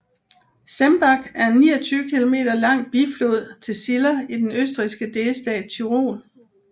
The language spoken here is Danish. Zemmbach er en 29 km lang biflod til Ziller i den østrigske delstat Tyrol